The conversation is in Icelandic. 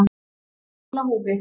Hún er heil á húfi.